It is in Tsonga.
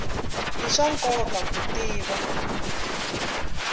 i swa nkoka ku tiva